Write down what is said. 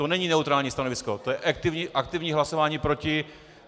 To není neutrální stanovisko, to je aktivní hlasování proti...